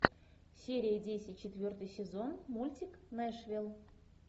серия десять четвертый сезон мультик нэшвилл